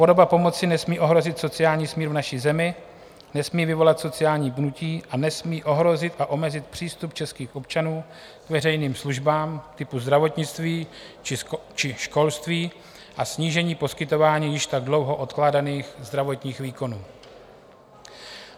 Podoba pomoci nesmí ohrozit sociální smír v naší zemi, nesmí vyvolat sociální pnutí a nesmí ohrozit a omezit přístup českých občanů k veřejným službám typu zdravotnictví či školství a snížení poskytování již tak dlouho odkládaných zdravotních výkonů.